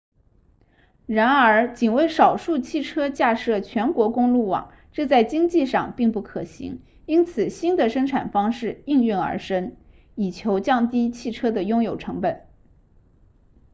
然而仅为少数汽车架设全国公路网这在经济上并不可行因此新的生产方式应运而生以求降低汽车的拥有成本